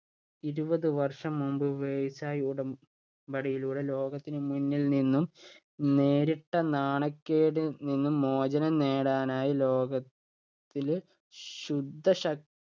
ഇരുപത് വർഷം മുൻപ് versai ഉടമ്പടിയിലൂടെ ലോകത്തിന് മുന്നില്‍ നിന്നും നേരിട്ട നാണക്കേടിൽ നിന്ന് മോചനം നേടാനായി ലോകത്തില് ശുദ്ധശക്